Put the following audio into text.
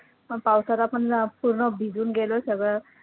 मग पावसात आपण अं पूर्ण भिजून गेलो सगळं